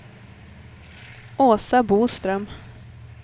Åsa Boström